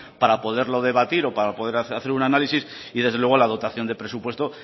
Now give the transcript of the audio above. para poderlo debatir o para poder hacer un análisis y desde luego la aportación de presupuesto